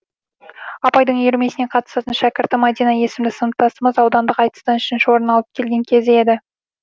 апайдың үйірмесіне қатысатын шәкірті мәдина есімді сыныптасымыз аудандық айтыстан үшінші орын алып келген кез еді